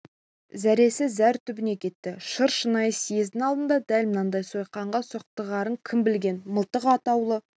зәресі зәр түбіне кетті шыр шынай съездің алдында дәл мынандай сойқанға соқтығарын кім білген мылтық атаулы